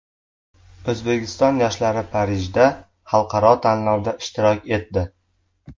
O‘zbekiston yoshlari Parijda xalqaro tanlovda ishtirok etdi.